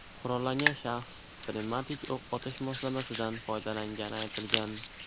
Qurollangan shaxs pnevmatik o‘q otish moslamasidan foydalangani aytilgan.